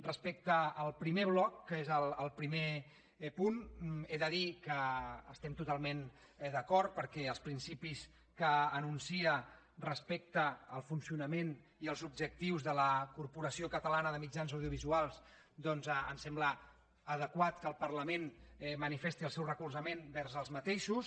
respecte al primer bloc que és el primer punt he de dir que hi estem totalment d’acord perquè els principis que anuncia respecte al funcionament i als objectius de la corporació catalana de mitjans audiovisuals doncs em sembla adequat que el parlament manifesti el seu recolzament vers els mateixos